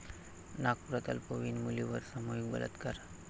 नागपुरात अल्पवयीन मुलीवर सामूहिक बलात्कार